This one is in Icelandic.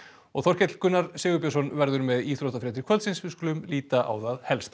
Þorkell Gunnar Sigurbjörnsson verður með íþróttafréttir kvöldsins við skulum líta á það helsta